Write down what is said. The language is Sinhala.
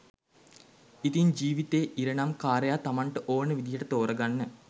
ඉතින් ජීවිතේ ඉරණම් කාරයා තමන්ට ඕන විදියට තෝරගන්න